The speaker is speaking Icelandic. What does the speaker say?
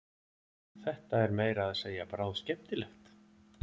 Þetta er meira að segja bráðskemmtilegt!